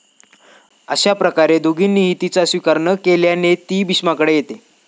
अश्याप्रकारे दोघांनीही तिचा स्वीकार न केल्याने ती भीष्माकडे येते.